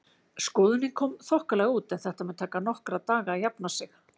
Skoðunin kom þokkalega út en þetta mun taka nokkra daga að jafna sig.